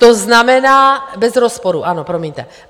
To znamená - Bez rozporu ano, promiňte.